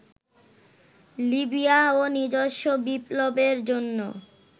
লিবিয়াও নিজস্ব বিপ্লবের জন্য